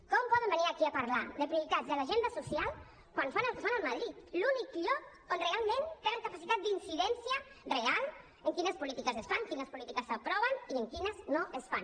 com poden venir aquí a parlar de prioritats de l’agenda social quan fan el que fan a madrid l’únic lloc on realment tenen capacitat d’incidència real en quines polítiques es fan quines polítiques s’aproven i en quines no es fan